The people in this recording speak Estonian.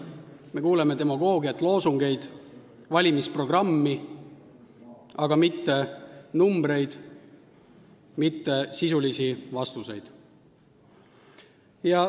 Me kuuleme demagoogiat, loosungeid, valimisprogrammi, aga mitte arve, mitte sisulisi vastuseid.